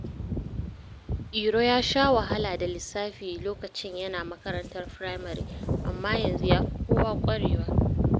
Iro ya sha wahala da lissafi lokacin yana makarantar firamare amma yanzu ya fi kowa ƙwarewa.